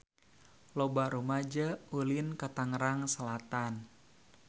Loba rumaja ulin ka Tangerang Selatan